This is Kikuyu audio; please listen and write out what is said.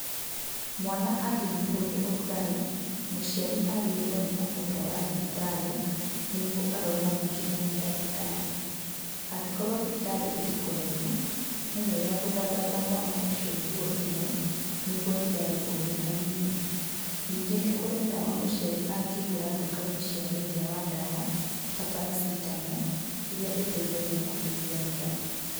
Mwana angĩnyitwo nĩ ũrugarĩ, mũciari agĩrĩirwo nĩ kũmũtwara thibitarĩ, nĩguo arorwo makĩria nĩ ndagĩtarĩ, angĩkorwo thibitarĩ ĩrĩ kũraihu, nĩwega gũthathaũra mwana ũcio nguo imwe, nĩguo rugarĩ ũnyihanyihe, ningĩ nĩ kũrĩ ndawa mũciari angĩgũra nduka-inĩ cia wendia wa ndawa ta paracetamol iria iteithagia kũgũithia rugarĩ.